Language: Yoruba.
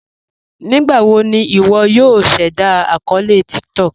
Nígbàwò ní ìwọ̀ yòò ṣẹ̀dá akọọlẹ̀ TikTok?